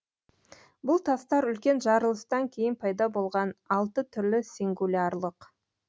бұл тастар үлкен жарылыстан кейін пайда болған алты түрлі сингулярлық